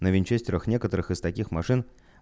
на винчестерах некоторых из таких машин